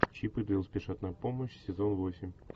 чип и дейл спешат на помощь сезон восемь